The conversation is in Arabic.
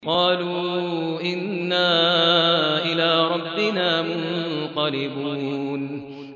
قَالُوا إِنَّا إِلَىٰ رَبِّنَا مُنقَلِبُونَ